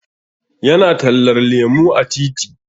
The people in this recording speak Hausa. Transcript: Ya na tallar lemu a titi